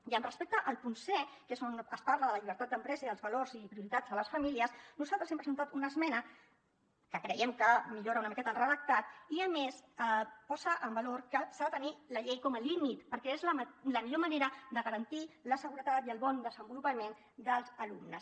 i respecte al punt c que és on es parla de la llibertat d’empresa i dels valors i prioritats de les famílies nosaltres hem presentat una esmena que creiem que millora una miqueta el redactat i a més posa en valor que s’ha de tenir la llei com a límit perquè és la millor manera de garantir la seguretat i el bon desenvolupament dels alumnes